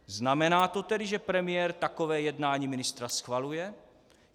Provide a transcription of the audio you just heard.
Znamená to tedy, že premiér takové jednání ministra schvaluje?